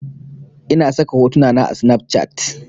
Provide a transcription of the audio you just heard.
Ina saka hotuna na a snafcat